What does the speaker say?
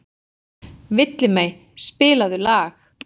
Villimey, spilaðu lag.